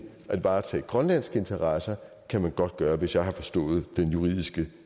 at varetage grønlandske interesser kan man godt gøre hvis jeg har forstået den juridiske